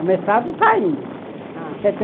O mestrado está indo.